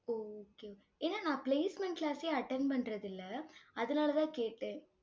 okay okay ஏன்னா நான் placement class ஏ attend பண்றதில்லை. அதனாலதான் கேட்டேன்